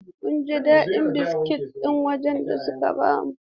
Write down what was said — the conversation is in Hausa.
Mun ji daɗin biskit ɗin wajen da suka ba mu.